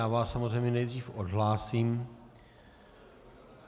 Já vás samozřejmě nejdřív odhlásím.